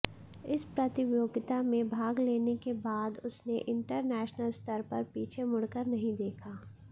इस प्रतियोगिता में भाग लेने के बाद उसने इंटरनेशनल स्तर पर पीछे मुड़कर नहीं देखा